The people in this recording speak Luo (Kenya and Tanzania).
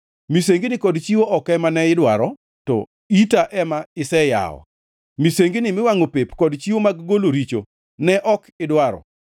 Misengini kod chiwo ok ema ne idwaro to ita ema iseyawo; misengini miwangʼo pep kod chiwo mag golo richo ne ok idwaro.